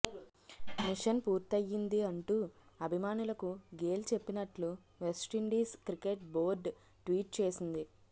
machine పూర్తయ్యిం ది అంటూ అభిమానులకు గేల్ చెప్పినట్లు వెస్టిండీస్ క్రికెట్ బోర్డు ట్వీట్ చేసింది